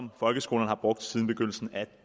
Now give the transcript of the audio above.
folkeskolerne har brugt siden begyndelsen af